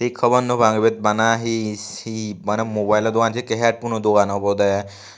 khabor nw pang ibet bana his hi maney mobilo dogan sekkey headphono dogan obwdey.